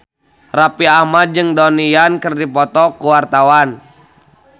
Raffi Ahmad jeung Donnie Yan keur dipoto ku wartawan